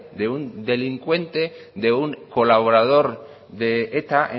de un delincuente de un colaborador de eta